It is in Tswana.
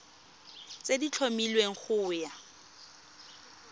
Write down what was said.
tse di tlhomilweng go ya